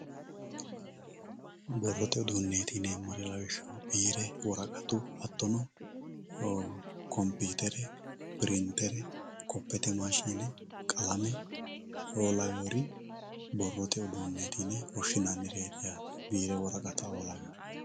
borrote uduunneeti yineemmohu lawishshaho biire woraqatu hattono kompiitere pirintere kopete maashine qalame"oo lawewoori borrote uduunneeti yine woshshinannireeti yaate biire woraqata"oo lawewoori.